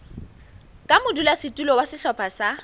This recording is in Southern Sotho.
ka modulasetulo wa sehlopha sa